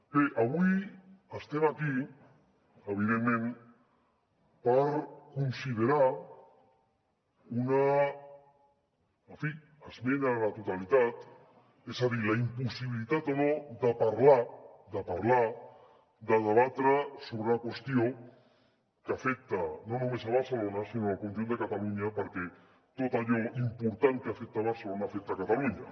bé avui estem aquí evidentment per considerar una en fi esmena a la totalitat és a dir la impossibilitat o no de parlar de parlar de debatre sobre una qüestió que afecta no només barcelona sinó el conjunt de catalunya perquè tot allò important que afecta barcelona afecta catalunya